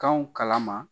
Kanw kala ma